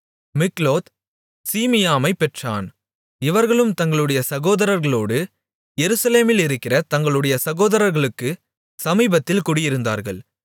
மிக்லோத் சீமியாமைப் பெற்றான் இவர்களும் தங்களுடைய சகோதரர்களோடு எருசலேமிலிருக்கிற தங்களுடைய சகோதரர்களுக்கு சமீபத்தில் குடியிருந்தார்கள்